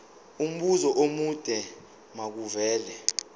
umbuzo omude makuvele